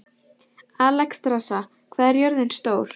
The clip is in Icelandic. Alexstrasa, hvað er jörðin stór?